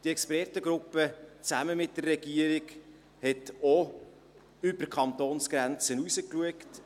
Die Expertengruppe schaute zusammen mit der Regierung auch über die Kantonsgrenze hinaus.